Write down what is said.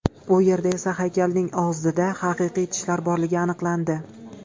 U yerda esa haykalning og‘zida haqiqiy tishlar borligi aniqlandi.